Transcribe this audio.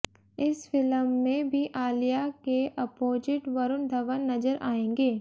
इस फिलम में भी आलिया के अपोजिट वरुण धवन नजर आएंगे